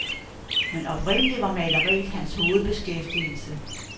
Men oprindelig var maleriet hans hovedbeskæftigelse.